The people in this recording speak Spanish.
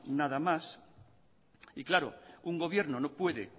nada más y claro un gobierno no puede